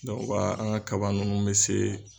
Dɔw b'a an ga kaba nunnu be se